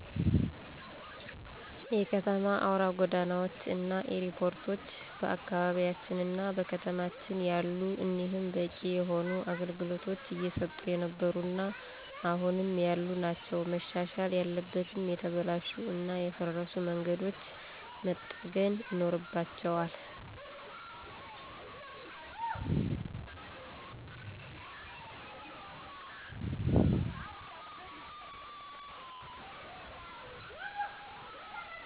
የከተማ አውራ ጎዳናዎች እና ኤርፖርቶች በአካባቢያችንና በከተማችን አሉ። እኒህም በቂ የሆነ አገልግሎቶች እየሰጡ የነበሩ እና አሁንም ያሉ ናቸው። መሻሻል ያለበትም የተበላሹ እና የፈረሱ መንገዶች መጠገን ይኖርባቸዋል።